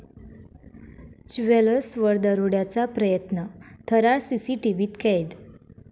ज्वेलर्स'वर दरोड्याचा प्रयत्न, थरार सीसीटीव्हीत कैद